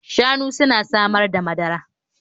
Shanu suna samar da madara